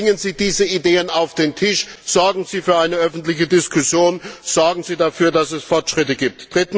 Bringen Sie diese Ideen auf den Tisch, sorgen Sie für eine öffentliche Diskussion, sorgen Sie dafür, dass es Fortschritte gibt!